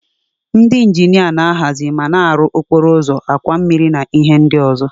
Ndị injinia na-ahazi ma na-arụ okporo ụzọ, àkwà mmiri na ihe ndị ọzọ.